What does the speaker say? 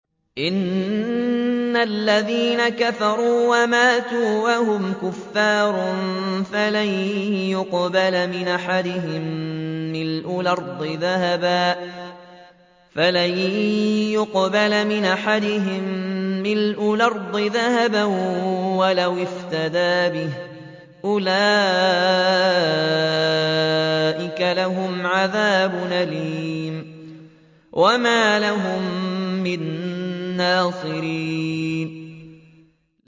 إِنَّ الَّذِينَ كَفَرُوا وَمَاتُوا وَهُمْ كُفَّارٌ فَلَن يُقْبَلَ مِنْ أَحَدِهِم مِّلْءُ الْأَرْضِ ذَهَبًا وَلَوِ افْتَدَىٰ بِهِ ۗ أُولَٰئِكَ لَهُمْ عَذَابٌ أَلِيمٌ وَمَا لَهُم مِّن نَّاصِرِينَ